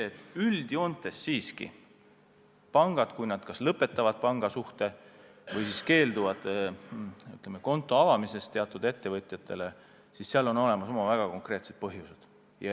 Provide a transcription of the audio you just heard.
Näitas seda, et üldjoontes pangad lõpetavad pangasuhte või siis keelduvad teatud ettevõtjatele kontot avamast, kui on olemas oma väga konkreetsed põhjused.